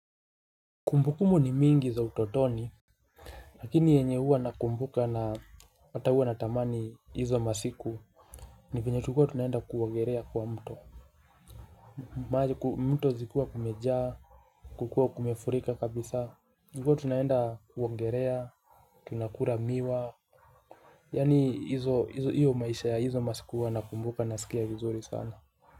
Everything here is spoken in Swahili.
Kumbukumu ni mingi za utotoni. Lakini yenye huwa nakumbuka na wata huwa natamani hizo masiku. Ni venye tulikua tunaenda kuogerea kwa mto. Mto zikuwa kumejaa. Kukua kumefurika kabisa tulikua tunayenda kuongerea. Tunakula miwa. Yaani hizo hiyo maisha ya hizo masiku huwa nakumbuka nasikia vizuri sana.